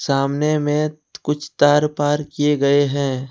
सामने में कुछ तार पार किए गए हैं।